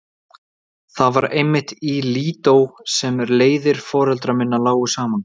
Það var einmitt í Lídó sem leiðir foreldra minna lágu saman.